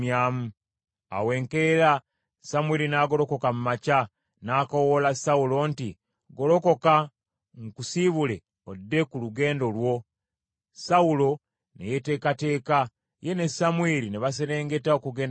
Awo enkeera Samwiri n’agolokoka mu makya n’akoowoola Sawulo nti, “Golokoka nkusibule odde ku lugendo lwo.” Sawulo ne yeteekateeka, ye ne Samwiri ne baserengeta okugenda mu kibuga.